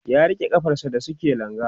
ya rike kafar sa da suke langa